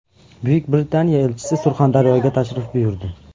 Buyuk Britaniya elchisi Surxondaryoga tashrif buyurdi.